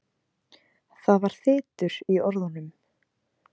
Það var þytur í orðunum.